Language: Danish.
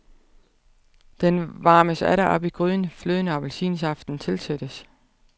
Den varmes atter op i gryden, fløden og appelsinsaften tilsættes.